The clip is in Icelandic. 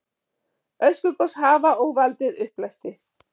Öskugos hafa og valdið uppblæstri.